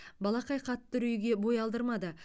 балақай қатты үрейге бой алдырмады